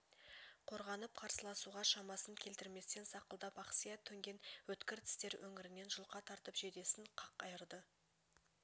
қорғанып қарсыласуға шамасын келтірместен сақылдап ақсия төнген өткір тістер өңірінен жұлқа тартып жейдесін қақ айырды